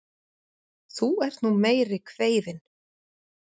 Þú ert nú meiri kveifin!